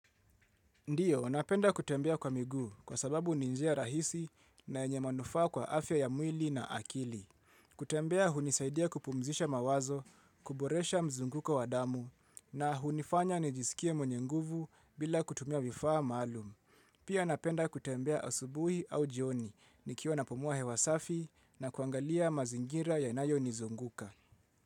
Ndiyo, napenda kutembea kwa miguu, kwa sababu ni njia rahisi na yenye manufaa kwa afya ya mwili na akili. Kutembea hunisaidia kupumuzisha mawazo, kuboresha mzunguko wa damu, na hunifanya nijisikie mwenye nguvu bila kutumia vifaa maalum. Pia, napenda kutembea asubuhi au njioni. Nikiwa napumua hewa safi na kuagalia mazingira yanayonizunguka.